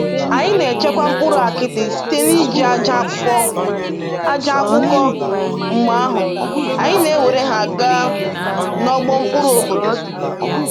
Anyị na-echekwa mkpụrụ akidi site n’iji aja akpụkọ, aja akpụkọ, mgbe ahụ, anyị na-ewere ha gaa n’ọgbọ mkpụrụ obodo.